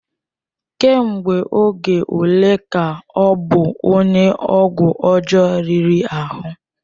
Ka mgbe oge ole ka ọ bụ onye ọgwụ ọjọọ riri ahụ?